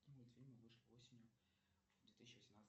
какие мультфильмы вышли осенью две тысячи восемнадцатого